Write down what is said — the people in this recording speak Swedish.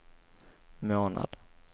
månad